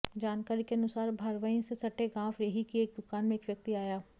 जानकारी के अनुसार भरवाईं से सटे गांव रेही की एक दुकान में एक व्यक्ति आया